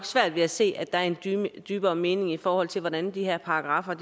svært ved at se at der er en dybere dybere mening i forhold til hvordan de her paragraffer er